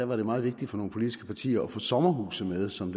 var det meget vigtigt for nogle politiske partier at få sommerhuse med som